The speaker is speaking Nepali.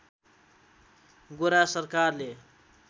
गोरा सरकारले